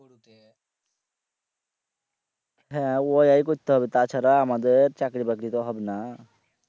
হ্যাঁ ওয়াই করতে হবে তাছাড়া আমাদের চাকরি বাকরি তো হবে না